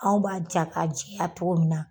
Anw b'a ja ka jɛya togo min na